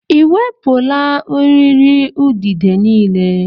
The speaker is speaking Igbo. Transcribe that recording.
Ị ewepụla eriri udide niile?